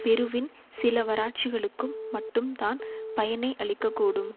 பெருவின் சிலவராட்சிகளுக்கும் மட்டும் தான் பயனை அளிக்க கூடும்